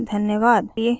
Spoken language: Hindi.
हमसे जुड़ने के लिए धन्यवाद